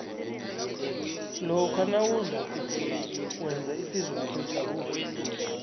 lokha nawudla kuhle wenza ihlizwakho ijabule